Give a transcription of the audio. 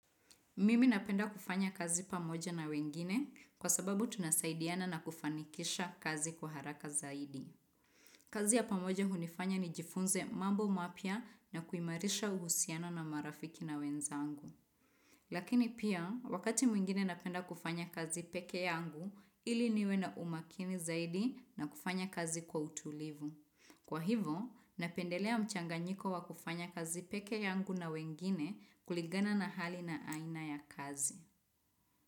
Mimi napenda kufanya kazi pamoja na wengine kwa sababu tunasaidiana na kufanikisha kazi kwa haraka zaidi. Kazi ya pamoja hunifanya nijifunze mambo mapya na kuimarisha uhusiano na marafiki na wenzangu. Lakini pia, wakati mwingine napenda kufanya kazi peke yangu ili niwe na umakini zaidi na kufanya kazi kwa utulivu. Kwa hivo, napendelea mchanganyiko wa kufanya kazi peke yangu na wengine kulingana na hali na aina ya kazi.